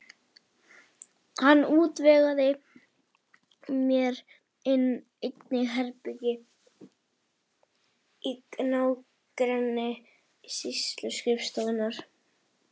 Hann útvegaði mér einnig herbergi í nágrenni sýsluskrifstofunnar.